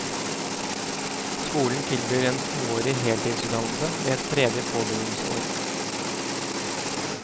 Skolen tilbyr en toårig heltidsutdannelse med et tredje påbyggingsår.